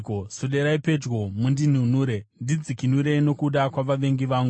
Swederai pedyo mundinunure; ndidzikinurei nokuda kwavavengi vangu.